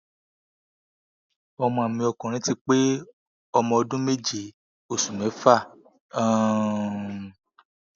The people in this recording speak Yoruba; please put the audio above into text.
ọmọ mi ọkùnrin ti pé ọmọ ọdún méje oṣù mẹfà um